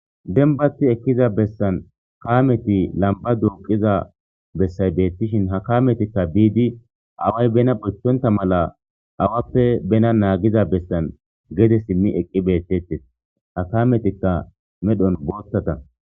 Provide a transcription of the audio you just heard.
Dembati ekkiza bessan kaameti lamba duuqiza bessay beettishin ha kametikka biidi away bena bochthonta mala awappe bena naagiza bessan gede simmi eqqi beettettes ha kametikka medhon boottata.